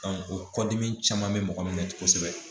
o kɔdimi caman bɛ mɔgɔ min na kosɛbɛ